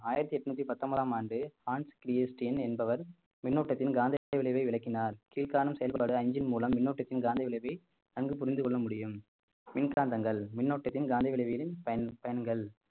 ஆயிரத்தி எட்நூத்தி பத்தொன்பதாம் ஆண்டு ஆன்ஸ் கிரி எஸ்டின் என்பவர் மின்னோட்டத்தின் காந்த விளைவை விளக்கினார் கீழ்காணும் செயல்பாடு அஞ்சின் மூலம் மின்னோட்டத்தின் காந்த விளைவை நன்கு புரிந்து கொள்ள முடியும் மின்காந்தங்கள் மின்னோட்டத்தில் காந்திவிளைவுகளின் பயன்~ பயன்கள்